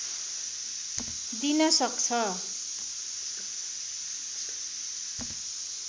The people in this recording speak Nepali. दिन सक्छ